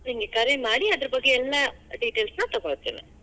ನಿಂಗ್ ಕರೆ ಮಾಡಿ, ಅದರ ಬಗ್ಗೆ ಎಲ್ಲಾ details ನಾ ತಗೋಳ್ತೇನಿ.